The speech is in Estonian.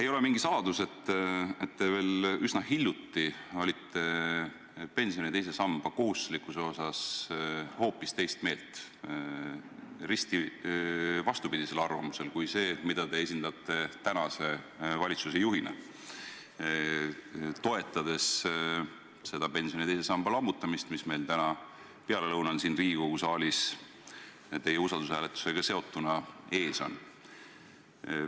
Ei ole mingi saladus, et te veel üsna hiljuti olite pensioni teise samba kohustuslikkuse osas hoopis teist meelt, risti vastupidisel arvamusel kui see, mida te esindate praeguse valitsuse juhina, toetades seda pensioni teise samba lammutamist, mis meil täna pealelõunal siin Riigikogu saalis teie usaldushääletusega seotuna ees on.